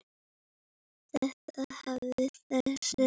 Þeir hafa þekkst boðið.